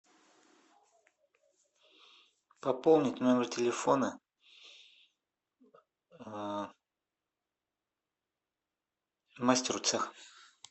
пополнить номер телефона мастеру цеха